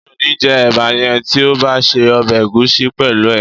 Mi ò ní jẹ́ ẹ̀bà yẹn tí ò bá se ọbẹ̀ ẹ̀gúsí pẹ̀lú ẹ̀